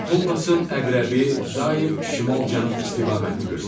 Kompasın əqrəbi daim şimal-cənub istiqamətini göstərir.